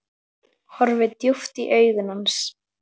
Horfi djúpt í augu hans.